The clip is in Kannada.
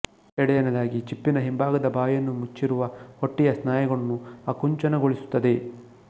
ಎರಡನೆಯದಾಗಿ ಚಿಪ್ಪಿನ ಹಿಂಭಾಗದ ಬಾಯನ್ನು ಮುಚ್ಚಿರುವ ಹೊಟ್ಟೆಯ ಸ್ನಾಯುಗಳನ್ನು ಆಕುಂಚನಗೊಳಿಸುತ್ತದೆ